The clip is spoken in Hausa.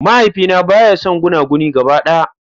Mahaifina baya son gunaguni gaba daya.